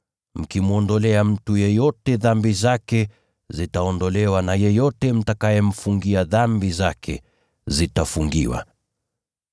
Mkimwondolea mtu yeyote dhambi zake, zitaondolewa, na yeyote msiyemwondolea dhambi zake, hazitaondolewa.”